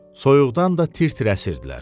Soyuqdan da tir-tir əsirdilər.